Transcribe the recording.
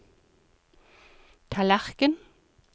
tallerken